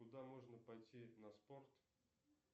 куда можно пойти на спорт